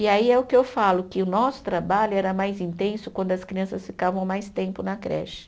E aí é o que eu falo, que o nosso trabalho era mais intenso quando as crianças ficavam mais tempo na creche.